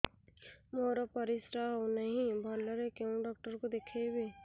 ମୋର ପରିଶ୍ରା ହଉନାହିଁ ଭଲରେ କୋଉ ଡକ୍ଟର କୁ ଦେଖେଇବି